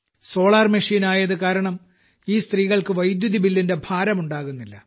solar മെഷീനായതു കാരണം ഈ സത്രീകൾക്ക് വൈദ്യുതി ബില്ലിന്റെ ഭാരം ഉണ്ടാകുന്നില്ല